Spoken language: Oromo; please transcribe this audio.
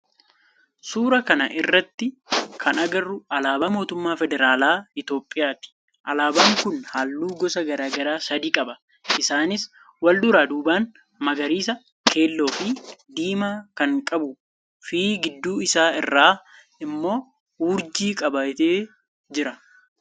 Suuraa kana irratti kan agarru alaabaa mootummaa federaalaa Itiyoophiyaati. Alaabaan kun halluu gosa garaa garaa sadi qaba isaanis; walduraa duuban magariisa, keelloo fi diimaa kan qabuu fi gidduu isaa irraa immoo urjii qabatee jira.